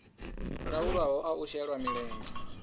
laulwaho a u shela mulenzhe